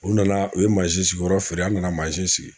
U nana u ye mansin sigi yɔrɔ feere an nana mansin sigi